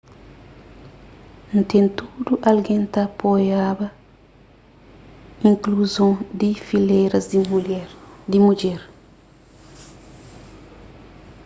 nen tudu algen ta apoiaba inkluzon di filéras di mudjer